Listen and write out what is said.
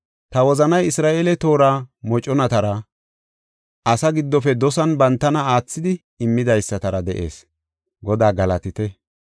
Ta wozanay Isra7eele toora moconatara, Asaa giddofe dosan bantana aathidi, immidaysatara de7ees. Godaa galatite;